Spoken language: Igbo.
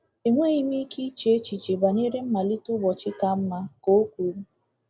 Enweghị m ike iche echiche banyere mmalite ụbọchị ka mma,” ka o kwuru.